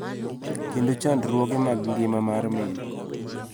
Kendo chandruoge mag ngima mar min.